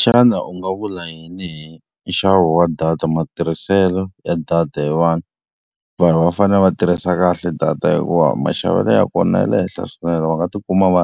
Xana u nga vula yini hi nxavo wa data matirhiselo ya data hi vanhu? Vanhu va fanele va tirhisa kahle data hikuva maxavelo ya kona ya le henhla swinene, va nga tikuma va